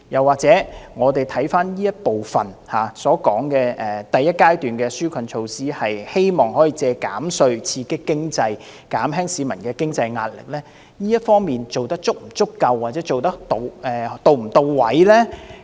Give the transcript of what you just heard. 或許我們看看這部分所說的第一階段紓困措施，企圖藉着減稅刺激經濟，減輕市民的經濟壓力，這方面做得是否足夠，又或是是否到位呢？